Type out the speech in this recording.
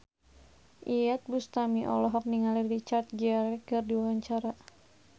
Iyeth Bustami olohok ningali Richard Gere keur diwawancara